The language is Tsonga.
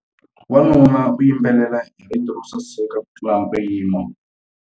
Wanuna u yimbelela hi rito ro saseka kutlula mpimo.